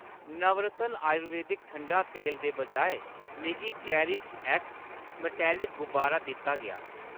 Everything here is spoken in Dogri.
नवरत्न आयुर्वेदक ठंडा तेल दे बजाए, मिगी चेरिशएक्स मटैलक गुबारा दित्ता गेआ।